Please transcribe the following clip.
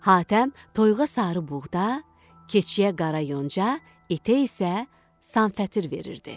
Hatəm toyuğa sarı buğda, keçiyə qara yonca, itə isə sanfətır verirdi.